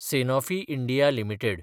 Sanofi India limited